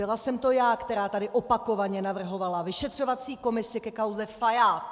Byla jsem to já, která tady opakovaně navrhovala vyšetřovací komisi ke kauze Fajád.